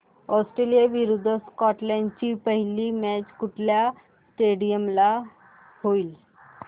Australia विरुद्ध Scotland ची पहिली मॅच कुठल्या स्टेडीयम ला होईल